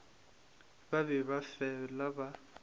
ba be ba fela ba